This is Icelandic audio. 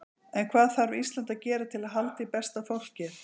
En hvað þarf Ísland að gera til að halda í besta fólkið?